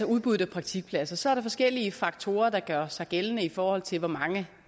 udbuddet af praktikpladser så er der forskellige faktorer der gør sig gældende i forhold til hvor mange